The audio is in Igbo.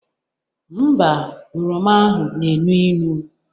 Ḿbà, oroma ahụ na-enu inu